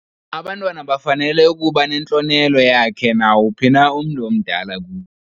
Abantwana bafanele ukuba nentlonelo yakhe nawuphi umntu omdala kubo.